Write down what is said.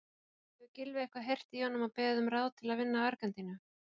Hefur Gylfi eitthvað heyrt í honum og beðið um ráð til að vinna Argentínu?